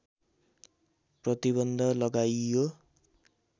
प्रतिबन्ध लगाइयो